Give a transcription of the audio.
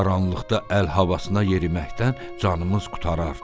Qaranlıqda əl havasına yeriməkdən canımız qurtarar."